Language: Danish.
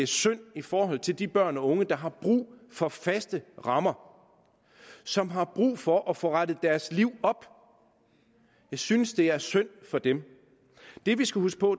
synd for de børn og unge der har brug for faste rammer som har brug for at få rettet deres liv op jeg synes det er synd for dem det vi skal huske på